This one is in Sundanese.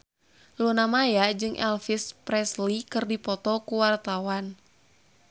Luna Maya jeung Elvis Presley keur dipoto ku wartawan